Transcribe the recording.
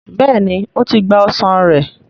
béèni o tí gbà ọsán rẹ.